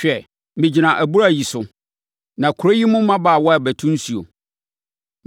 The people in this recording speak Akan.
Hwɛ, megyina abura yi so, na kuro yi mu mmabaawa rebɛto nsuo.